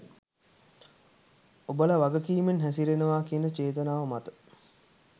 ඔබල වගකීමෙන් හැසිරෙනවා කියන චේතනාව මත.